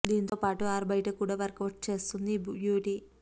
దాంతో పాటు ఆరు బయట కూడా వర్కవుట్స్ చేస్తుంది ఈ బ్యూటీ